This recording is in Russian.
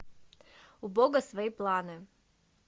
у бога свои планы